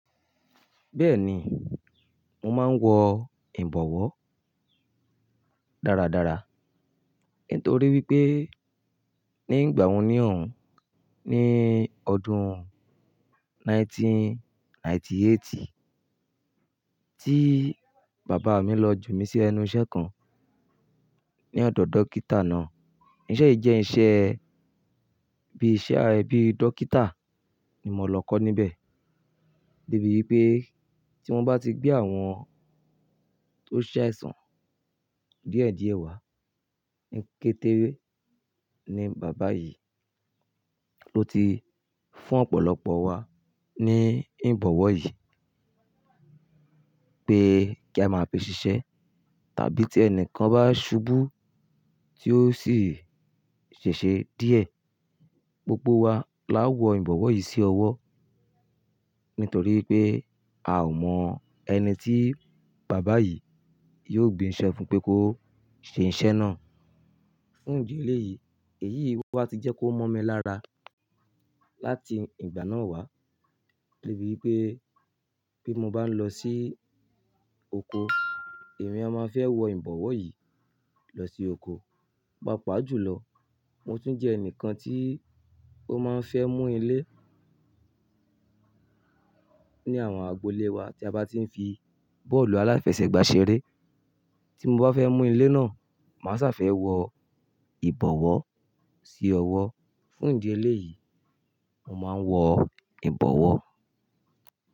Bẹ́ẹ̀ni, mo máa ń wọ ìbọ̀wọ́ dáradára nítorí wípé ní ìgbà wo ní òun, ní ọdún ẹgbẹ̀rún kan ó lé ọgọ́rùn-ún mẹ́sàn-án ó lé éjìdínlọ́gọ́rùn-ún tí bàbá mi lọ jù mí sí ẹnu iṣẹ́ kan ní ọ̀dọ̀ dókítà náà. Iṣẹ́ yìí jẹ́ iṣẹ́ bí i iṣẹ́ a-- bíi dókítà ni mo lọ kọ́ níbẹ̀. Debi wipé tí wọ́n bá ti gbé àwọn tó ṣaisán dìẹ̀dìẹ̀ wá, ní kété ni bàbá yìí ló ti fún ọ̀pọ̀lọpọ̀ wa ní ìbọ̀wọ́ yìí pé kí a máa fi ṣiṣẹ́ tàbí tí ẹni kan bá ṣubú tí ó sì ṣèṣe díẹ̀, pé kí a máa fi ṣiṣẹ́ tàbí tí ẹni kan bá ṣubú tí ó sì ṣèṣe díẹ̀, Fún ìdí eléyìí, èyí wá ti jẹ́ kó mọ̀ mi lára láti ìgbà náà wá. Debi wipé bí mo bá lọ sí oko, èmi a máa fẹ́ wọ ìbọ̀wọ́ yìí lọ sí oko. Pàápàá jùlọ, mo tún jẹ́ ẹnìkan tí ó máa ń fẹ́ mú ilé ní àwọn agbo ilé wa tí a bá ti ń fi bọ́ọ̀lù aláfẹsẹ̀gbá ṣeré. Tí mo bá fẹ́ mú ilé náà, màá sa fẹ́ wọ ìbọ̀wọ́ sí ọwọ́. Fún ìdí eléyìí, mo máa ń wọ ìbọ̀wọ́.